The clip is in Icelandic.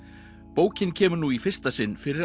bókin kemur nú í fyrsta sinn fyrir